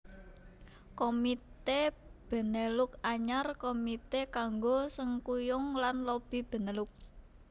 Komité Benelux Anyar Komité kanggo sengkuyung lan lobi Benelux